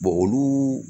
olu